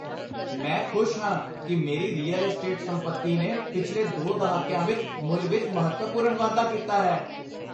ਮੈਂ ਖੁਸ਼ ਹਾਂ ਕਿ ਮੇਰੀ ਰੀਅਲ ਅਸਟੇਟ ਸੰਪੱਤੀ ਨੇ ਪਿਛਲੇ 2 ਦਹਾਕਿਆਂ ਵਿੱਚ ਮੁੱਲ ਵਿੱਚ ਮਹੱਤਵਪੂਰਨ ਵਾਧਾ ਕੀਤਾ ਹੈ।